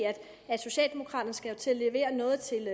at socialdemokraterne jo skal til at levere noget til